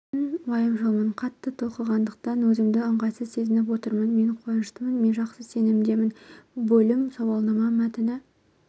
мен уайымшылмын қатты толқығандықтан өзімді ыңғайсыз сезініп отырмын мен қуаныштымын мен жақсы сезімдемін бөлім сауалнама мәтіні